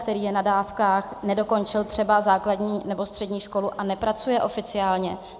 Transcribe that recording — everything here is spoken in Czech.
Který je na dávkách, nedokončil třeba základní nebo střední školu a nepracuje oficiálně?